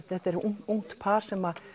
þetta er ungt par sem